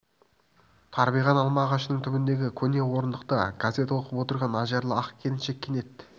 тарбиған алма ағашының түбіндегі көне орындықта газет оқып отырған ажарлы ақ келіншек кенет